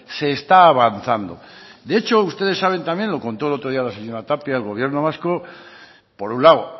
se está avanzando de hecho ustedes saben también lo contó el otro día la señora tapia el gobierno vasco por un lado